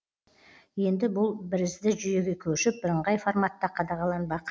енді бұл бірізді жүйеге көшіп бірыңғай форматта қадағаланбақ